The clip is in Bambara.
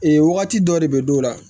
Ee wagati dɔ de bɛ dɔw la